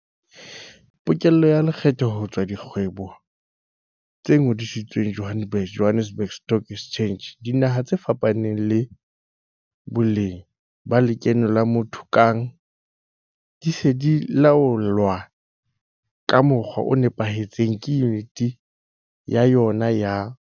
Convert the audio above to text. Pokello ya lekgetho ho tswa ho dikgwebo tse ngodisitsweng Johannesburg Stock Exchange JSE, dinaha tse fapaneng le boleng ba lekeno la motho kang di se di laolwa ka mokgwa o nepahetseng ke Yuniti ya yona ya